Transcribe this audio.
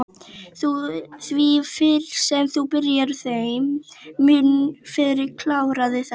Því fyrr sem þú byrjar þeim mun fyrr klárarðu þetta